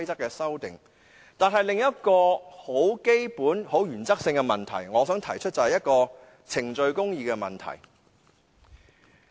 但是，我想提出另一個基本及原則性的問題，就是程序公義。